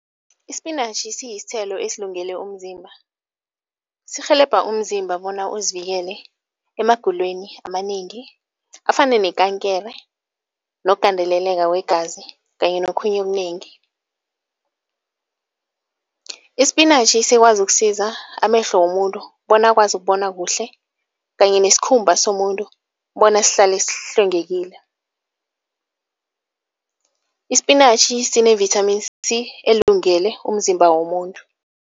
Ispinatjhi siyisithelo esilungele umzimba. Sirhelebha umzimba bona uzivikele emagulweni amanengi afana nekankere nokugandeleleka kwegazi kanye nokhunye okunengi. Ispinatjhi sikwazi ukusiza amehlo womuntu bona akwazi ukubona kuhle kanye nesikhumba somuntu bona sihlale sihlwengekile. Ispinatjhi sine-vitamin C elungele umzimba womuntu.